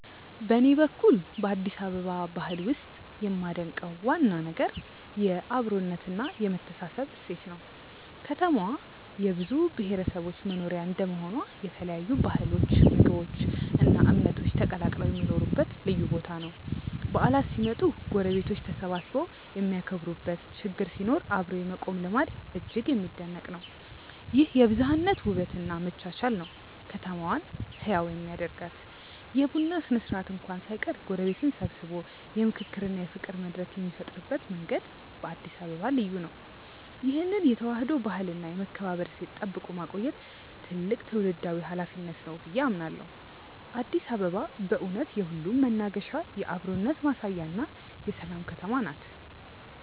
በኔ በኩል በአዲስ አበባ ባህል ውስጥ የማደንቀው ዋና ነገር የአብሮነትና የመተሳሰብ እሴት ነው። ከተማዋ የብዙ ብሔረሰቦች መኖሪያ እንደመሆኗ የተለያዩ ባህሎች ምግቦች እና እምነቶች ተቀላቅለው የሚኖሩበት ልዩ ቦታ ነው። በዓላት ሲመጡ ጎረቤቶች ተሰባስበው የሚያከብሩበት ችግር ሲኖር አብሮ የመቆም ልማድ እጅግ የሚደነቅ ነው። ይህ የብዝሃነት ውበት እና መቻቻል ነው ከተማዋን ህያው የሚያደርጋት። የቡና ስነ-ስርዓት እንኳን ሳይቀር ጎረቤትን ሰብስቦ የምክክርና የፍቅር መድረክ የሚፈጥርበት መንገድ በአዲስ አበባ ልዩ ነው። ይህን የተዋህዶ ባህልና የመከባበር እሴት ጠብቆ ማቆየት ትልቅ ትውልዳዊ ኃላፊነት ነው ብዬ አምናለሁ። አዲስ አበባ በእውነት የሁሉም መናገሻ፣ የአብሮነት ማሳያና የሰላም ከተማ ነች።